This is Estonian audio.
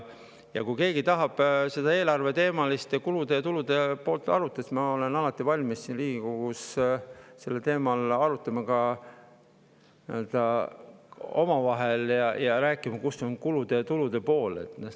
Kui keegi tahab eelarve kulude ja tulude poolt arutada, siis ma olen alati valmis siin Riigikogus sellel teemal arutama, omavahel rääkima, milline on kulude ja tulude pool.